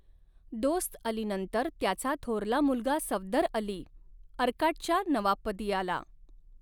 दोस्तअलीनंतर त्याचा थोरला मुलगा सफदरअली, अर्काटच्या नवाबपदी आला.